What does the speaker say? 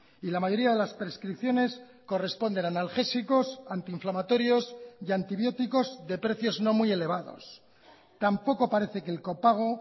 y la mayoría de las prescripciones corresponden a analgésicos antinflamatorios y antibióticos de precios no muy elevados tampoco parece que el copago